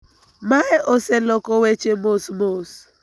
Mae oseloko weche mos mos